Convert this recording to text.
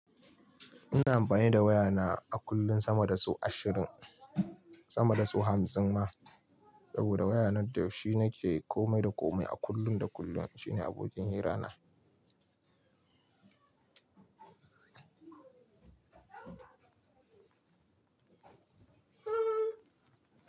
Ina amfani da wayana a kullun sama da sau ashirin, sama da sau hamsin ma. Saboda waya nan da shi nake komai da komai a kullun da kullun. Shine abokin hira na.